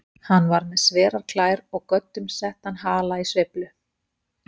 Hann var með sverar klær og göddum settan hala í sveiflu.